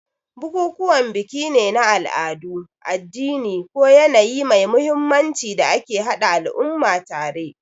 Bukukuwan biki ne na al'adu, addini, ko yanayi mai mahimmanci da ke haɗa al'umma tare.